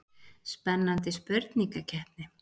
Spennandi spurningakeppni.